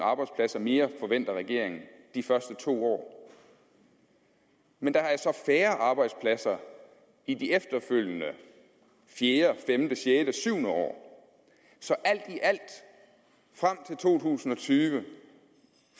arbejdspladser mere forventer regeringen de første to år men der er så færre arbejdspladser i de efterfølgende fjerde femte sjette syvende år så alt i alt frem til to tusind og tyve